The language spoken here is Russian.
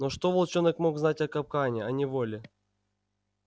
но что волчонок мог знать о капкане о неволе